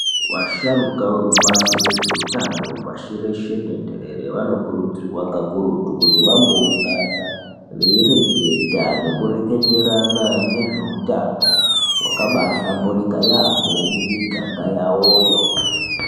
Vasharuka vekubazi rezveutano pashi reshe tenderere, vanokurudzirwa kakurutu kuti vamboungana veireketa nekureketerana nezveutano hwakabahlamburika yaambo mumiganga yawoyo.